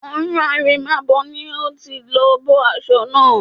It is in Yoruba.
Ọ̀run àrèmábọ̀ ni a ti lọ bọ́ aṣọ náà